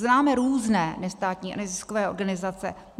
Známe různé nestátní a neziskové organizace.